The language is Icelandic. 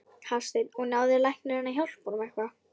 Hafsteinn: Og náði læknirinn að hjálpa honum eitthvað?